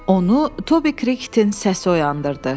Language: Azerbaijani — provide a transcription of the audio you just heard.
Onu Tobi Kritin səsi oyandırdı.